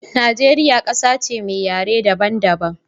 Nageria ƙasa ce me yare daban daban